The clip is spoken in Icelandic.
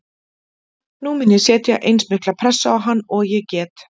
Nú mun ég setja eins mikla pressu á hann og ég get.